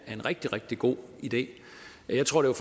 er en rigtig rigtig god idé jeg tror det